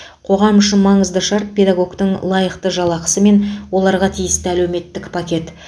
қоғам үшін маңызды шарт педагогтің лайықты жалақысы мен оларға тиісті әлеуметтік пакет